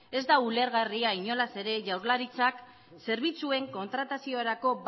ez da ulergarria inolaz ere jaurlaritzak zerbitzuen kontrataziorako